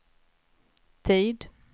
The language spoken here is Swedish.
tid